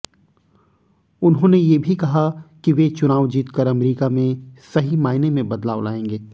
उन्होंने ये भी कहा कि वे चुनाव जीतकर अमरीका में सही मायने में बदलाव लाएंगे